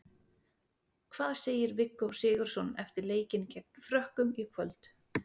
Hvað segir Viggó Sigurðsson eftir leikinn gegn Frökkum í kvöld?